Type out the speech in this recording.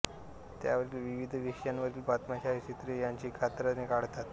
त्यातील विविध विषयांवरील बातम्या छायाचित्रे यांची कात्रणे काढतात